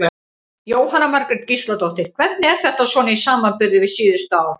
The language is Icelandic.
Jóhanna Margrét Gísladóttir: Hvernig er þetta svona í samanburði við síðustu ár?